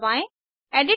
clear पर click करें